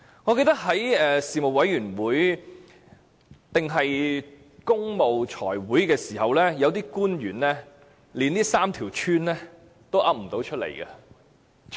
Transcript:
我記得在財務委員會會議時，有些官員連這3條村的名字也說不出來。